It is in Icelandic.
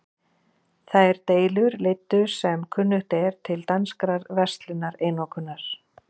Þær deilur leiddu sem kunnugt er til danskrar verslunareinokunar.